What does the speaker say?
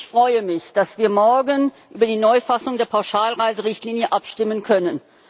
Ich freue mich, dass wir morgen über die Neufassung der Pauschalreiserichtlinie abstimmen können.